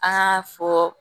An k'a fɔ